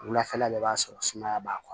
Wulafɛla bɛɛ b'a sɔrɔ sumaya b'a